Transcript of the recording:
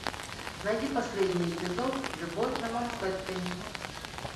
найди последний эпизод любовь на манхэттене